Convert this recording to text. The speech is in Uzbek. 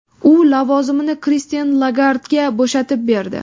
U lavozimini Kristin Lagardga bo‘shatib berdi.